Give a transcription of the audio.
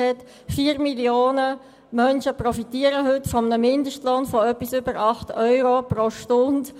4 Millionen Menschen profitieren heute von einem Mindestlohn von über 8 Euro pro Stunde.